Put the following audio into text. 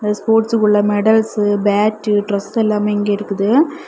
ஸ்போர்ட்ஸ்க்குல்ல medals bat dress எல்லாமே இங்க இருக்குது.